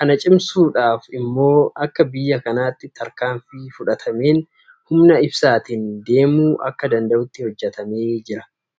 Kana cimsuudhaaf immoo akka biyya kanaatti tarkaanfii fudhatameen humna ibsaatiin deemuu akka danda'utti hojjetamee jira.